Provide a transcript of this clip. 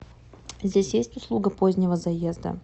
здесь есть услуга позднего заезда